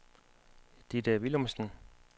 Ditte Willumsen